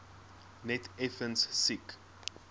net effens siek